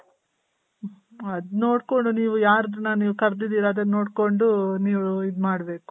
ಅದ್ ನೋಡ್ಕೊಂಡ್ ನೀವು ಯಾರ್ದನ ನೀವ್ ಕರ್ದಿದಿರ ಅದನ್ ನೋಡ್ಕೊಂಡ್ ನೀವು ಇದ್ ಮಾಡ್ ಬೇಕು